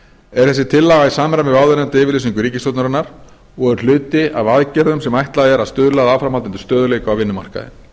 er þessi tillaga í samræmi við áðurnefnda yfirlýsingu ríkisstjórnarinnar og er hluti af aðgerðum sem ætlað er að stuðla að áframhaldandi stöðugleika á vinnumarkaði